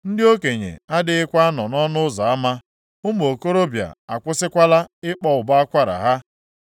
Ndị okenye adịghịkwa anọ nʼọnụ ụzọ ama, ụmụ okorobịa akwụsịkwala ịkpọ ụbọ akwara ha.